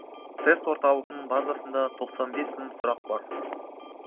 тест орталығының базасында тоқсан бес мың сұрақ бар